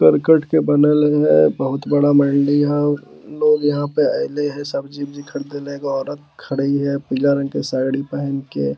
करकट के बनल है बहुत बड़ा मंडी है लोग इहाँ पे अइले सब्जी-उब्जी खरदी ला एगो औरत खड़ी है पीला रंग की साड़ी पेहन के।